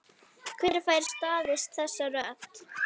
Hver fær staðist þessa rödd?